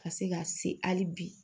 Ka se ka se hali bi